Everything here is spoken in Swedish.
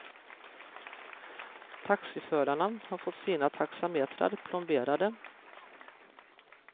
Taxiförarna har fått sina taxametrar plomberade.